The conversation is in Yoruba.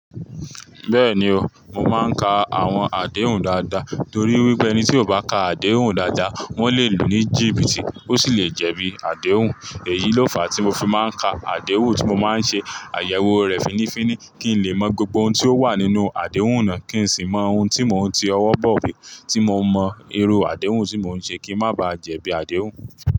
Bẹ́ẹ̀ni o, mo máa ń ka àwọn àdéhùn dáadáa torí wípé ẹni tí ò bá ka àdéhùn dáadáa, wọ́n lè lu ní jìbìtì ó sì lè jẹ̀bi àdéhùn. Èyí ló fàá tí mo fi máa ń ka àdéhùn tí mo máa ń ṣe àyẹ̀wò rẹ̀ fínnífínní kí n lè mọ gbogbo ohun tí ó wà nínú àdéhùn náà kí n sì mọ ohun tí mo ń ti ọwọ́ bọ̀ iwe tí mo mọ irú àdéhùn tí mo ń ṣe kí n má ba jẹ̀bi àdéhùn.